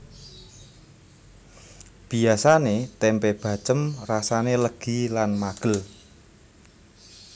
Biasane tempe bacém rasane legi lan magel